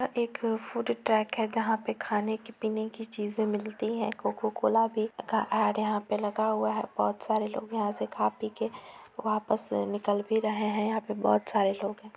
यहाँ एक food truck है जहा पर खाने की पिने की चीज़े मिलती हैं कोका कोला भी का ऐड यहाँ पर लगा हुआ है भोत सारे लोग यहाँ से खा पी के वापस निकल भी रहे हैं यहाँ पे भोत सारे लोग हैं।